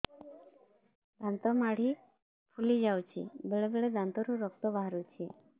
ଦାନ୍ତ ମାଢ଼ି ଫୁଲି ଯାଉଛି ବେଳେବେଳେ ଦାନ୍ତରୁ ରକ୍ତ ବାହାରୁଛି